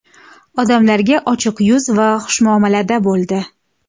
Odamlarga ochiq yuz va xushmuomalada bo‘ldi.